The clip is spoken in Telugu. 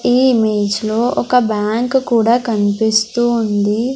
ఈ ఇమేజ్ లో ఒక బ్యాంకు కూడా కన్పిస్తూ ఉంది.